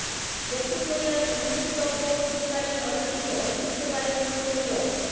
দক্ষিণ কোরিয়ায় অনুষ্ঠিতব্য শীতকালীন অলিম্পিকে অংশ নিতে পারে উত্তর কোরিয়াও